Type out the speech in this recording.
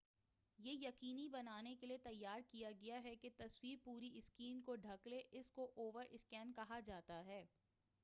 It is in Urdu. یہ یقینی بنانے کیلئے تیار کیا گیا ہے کہ تصویر پوری سکرین کو ڈھک لے اسی کو اوور سکین کہا جاتا ہے